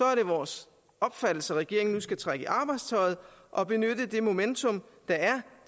er det vores opfattelse at regeringen nu skal trække i arbejdstøjet og benytte det momentum der er